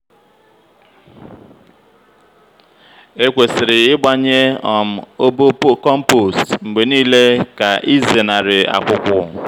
ekwesịrị ịgbanye um obo compost mgbe niile ka ịzenarị akwụkwụ.